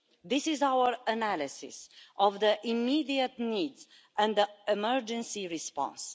This is our analysis of the immediate needs and the emergency response.